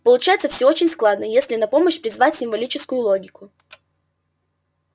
получается всё очень складно если на помощь призвать символическую логику